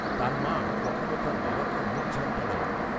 তার মা কখনও তার বাবাকে মুখঝামটা দেয়নি